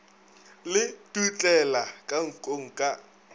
le dutlela ka nkong ka